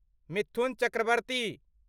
Mithun Chakraborty